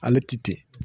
Ale ti ten